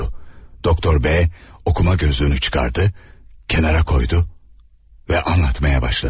Doktor B oxuma gözlüyünü çıxartdı, kənara qoydu və anlatmağa başladı.